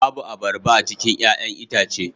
Babu abarba a cikin 'ya'yan itace